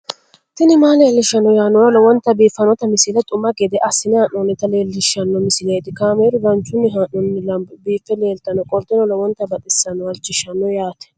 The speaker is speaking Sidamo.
tini maa leelishshanno yaannohura lowonta biiffanota misile xuma gede assine haa'noonnita leellishshanno misileeti kaameru danchunni haa'noonni lamboe biiffe leeeltannoqolten lowonta baxissannoe halchishshanno yaate